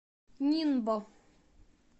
нинбо